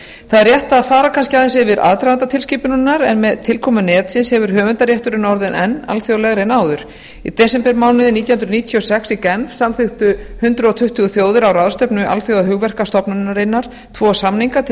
það er rétt að fara kannski aðeins yfir aðdraganda tilskipunarinnar en með tilkomu netsins hefur höfundarétturinn orðið enn alþjóðlegri en áður í desembermánuði nítján hundruð níutíu og sex í genf samþykktu hundrað tuttugu þjóðir á ráðstefnu alþjóðahugverkastofnunarinnar tvo samninga til